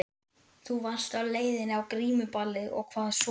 Þú varst á leiðinni á grímuballið og hvað svo?